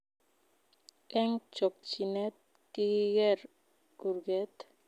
Eng chokchinet kikigeer kurget